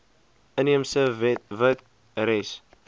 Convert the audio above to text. inheemse wet res